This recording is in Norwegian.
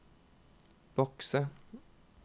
bokse